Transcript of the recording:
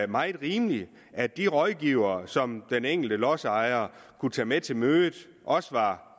meget rimeligt at de rådgivere som den enkelte lodsejer kunne tage med til mødet også var